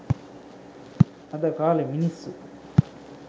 අද කාලේ මිනිස්සු